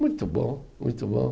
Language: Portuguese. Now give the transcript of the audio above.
Muito bom, muito bom.